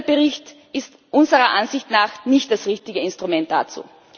Dieser Bericht ist unserer Ansicht nach nicht das richtige Instrument dazu.